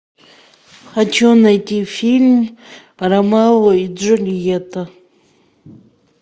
хочу найти фильм ромео и джульетта